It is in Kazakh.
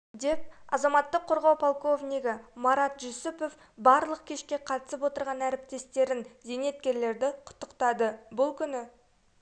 деп азаматтық қорғау полковнигі марат жүсіпов барлық кешке қатысып отырған әріптестерін зейнеткерлерді құттықтады бұл күні